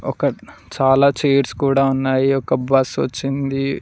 ఒక చాలా చేయిర్స్ కూడ ఉన్నాయి ఒక బస్సు వచ్చింది.